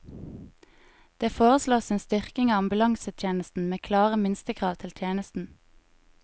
Det foreslås en styrking av ambulansetjenesten, med klare minstekrav til tjenesten.